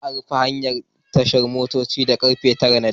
Za'a rufe tashar hawa motocin da karfe 9 na dare.